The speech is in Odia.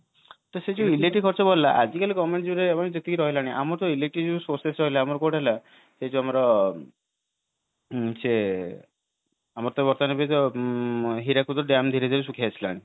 ତ ସେଇ ଯୋଉ electric ଖର୍ଚ୍ଚ ବଢିଲା ଆଜି କାଲି government ଯୋଉ ଯେତିକି ରହିଲାଣି ଆମର ତ ଜ୍ପୋଉ electric sources ରହିଲା ଏଇ ଯୋଉ ଆମର ସେ ଆମର ତ ବର୍ତ୍ତମାନ ଏଇ ଯୋଉ ହୀରାକୁଦ dyam ଶୁଖିଲାଣି